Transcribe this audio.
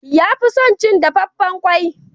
Ya fi son cin dafaffen kwai.